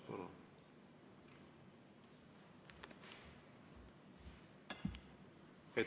Palun!